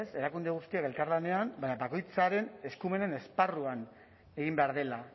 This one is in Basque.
ez erakunde guztiak elkarlanean baina bakoitzaren eskumenen esparruan egin behar dela